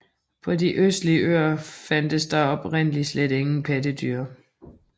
På de østlige øer fandtes der oprindeligt slet ingen pattedyr